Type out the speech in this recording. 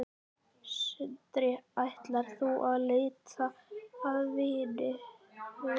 Sindri: Ætlar þú út að leita að vinnu?